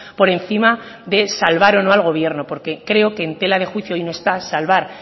por encima de salvar o no al gobierno porque creo que en tela de juicio hoy no está salvar